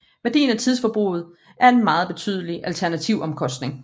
Værdien af tidsforbruget er en meget betydelig alternativomkostning